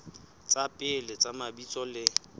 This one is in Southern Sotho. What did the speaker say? tsa pele tsa mabitso le